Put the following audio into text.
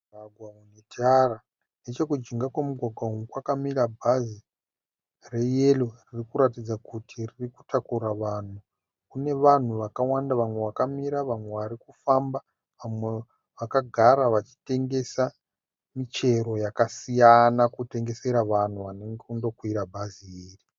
Mugwgwa une tara. Nechekujinga kwemugwagwa uyu kwakamira bhazi reyero riri kuratidza kuti riri kutakura vanhu. Kune vanhu vakawanda vamwe vakamira, vamwe vari kufamba, vamwe vakagara vachitengesa michero yakasiyana, kutengesera vanhu vari kundokwira bhazi iri.